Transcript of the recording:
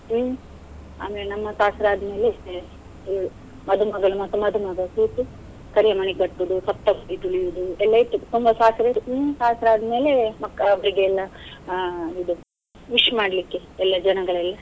ಹ್ಮ್, ಆಮೇಲೆ ನಮ್ಮ ಶಾಸ್ತ್ರ ಆದ್ಮೇಲೆ ಇವ್ಳು, ಮದುಮಗಳು ಮತ್ತು ಮದುಮಗ ಕೂತು ಕರಿಯಮಣಿ ಕಟ್ಟುದು, ಸಪ್ತಪದಿ ತುಳಿಯುದು ಎಲ್ಲ ಇತ್ತು ತುಂಬಾ ಶಾಸ್ತ್ರ ಇತ್ತು ಹ್ಮ್. ಶಾಸ್ತ್ರ ಆದ್ಮೇಲೆ ಮಕ್ಕ~ ಅವ್ರಿಗೆಲ್ಲ ಆ ಇದು wish ಮಾಡ್ಲಿಕ್ಕೆ ಎಲ್ಲ ಜನಗಳೆಲ್ಲ.